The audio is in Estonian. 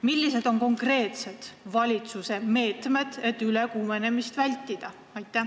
Millised on konkreetsed valitsuse meetmed, et ülekuumenemist vältida?